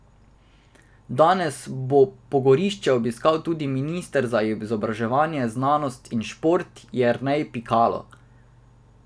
Danes bo pogorišče obiskal tudi minister za izobraževanje, znanost in šport Jernej Pikalo.